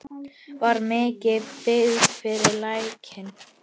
Var mikil byggð við Lækinn?